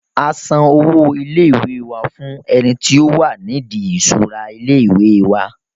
a san owó ilé ìwé wa fún ẹni tí ó wà ní ìdí ìṣura ilé ìwé wa